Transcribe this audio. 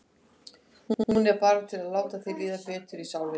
Hún er bara til að láta þér líða betur í sálinni.